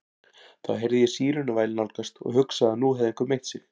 Þá heyrði ég sírenuvæl nálgast og hugsaði að nú hefði einhver meitt sig.